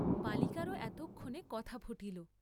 বালিকারও এতক্ষণে কথা ফুটিল।